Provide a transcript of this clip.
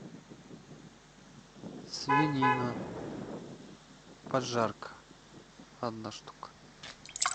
свинина поджарка одна штука